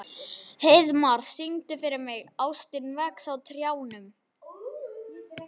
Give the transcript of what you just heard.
Heiðmar, syngdu fyrir mig „Ástin vex á trjánum“.